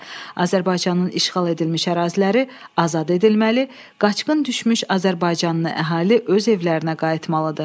Azərbaycanın işğal edilmiş əraziləri azad edilməli, qaçqın düşmüş azərbaycanlı əhali öz evlərinə qayıtmalıdır.